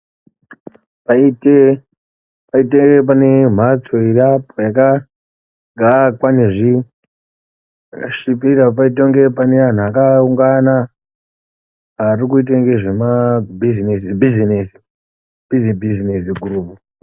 Paite pane mhatso iriapo akaakwa pane zvakasvipira paiite kunge pane antu akaungauna arikuita ngezvema bhizinesi bhizinezi gurupu.